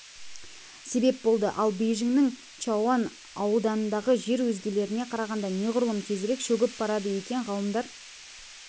себеп болды ал бейжіңнің чаоян ауданындағы жер өзгелеріне қарағанда неғұрлым тезірек шөгіп барады екен ғалымдар